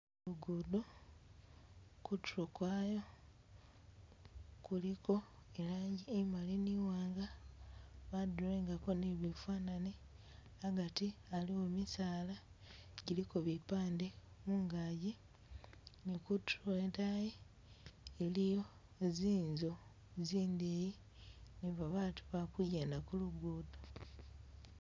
Lugudo, kutulo kwaayo kuliko i'langi imali ni iwanga ba drawingako ni bifanani agati aliwo misaala giliko bipande mungagi ni kutulo idayi iliyo zinzu zindeyi ni babatu ba kugyenda ku lugudo